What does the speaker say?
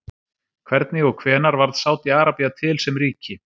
Hvernig og hvenær varð Sádi-Arabía til sem ríki?